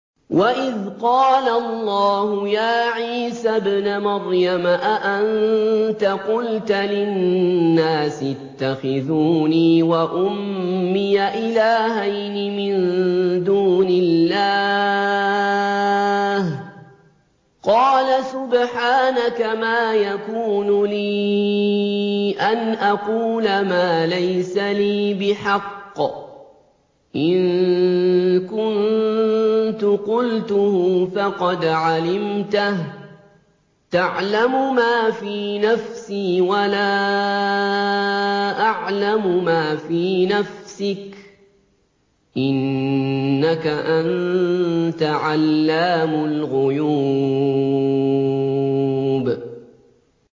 وَإِذْ قَالَ اللَّهُ يَا عِيسَى ابْنَ مَرْيَمَ أَأَنتَ قُلْتَ لِلنَّاسِ اتَّخِذُونِي وَأُمِّيَ إِلَٰهَيْنِ مِن دُونِ اللَّهِ ۖ قَالَ سُبْحَانَكَ مَا يَكُونُ لِي أَنْ أَقُولَ مَا لَيْسَ لِي بِحَقٍّ ۚ إِن كُنتُ قُلْتُهُ فَقَدْ عَلِمْتَهُ ۚ تَعْلَمُ مَا فِي نَفْسِي وَلَا أَعْلَمُ مَا فِي نَفْسِكَ ۚ إِنَّكَ أَنتَ عَلَّامُ الْغُيُوبِ